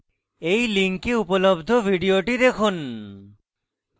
এই লিঙ্কে উপলব্ধ video দেখুন